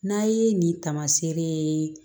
N'a ye nin taamaseere ye